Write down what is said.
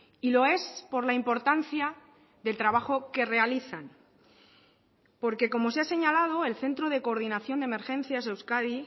y lo es por la importancia del trabajo que realizan porque como se ha señalado el centro de coordinación de emergencias euskadi